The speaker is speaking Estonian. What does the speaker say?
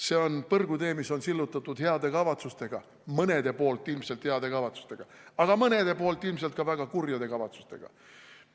See on põrgutee, mis on sillutatud heade kavatsustega – mõne poolt ilmselt heade kavatsustega, aga mõne poolt ilmselt ka väga kurjade kavatsustega.